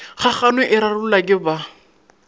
kgagano e rarollwa ke ba